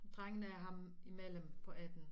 Drengen er ham imellem på 18